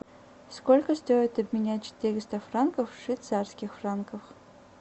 сколько стоит обменять четыреста франков в швейцарских франках